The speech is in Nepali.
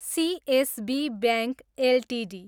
CSB bank Ltd